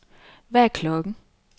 Hvad er klokken